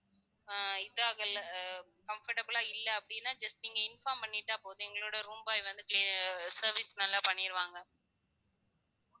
அஹ் இதாகல ah comfortable லா இல்ல அப்படினா just நீங்க inform பண்ணிட்டா போதும் எங்களோட room boy வந்து clea~ service நல்லா பண்ணிருவாங்க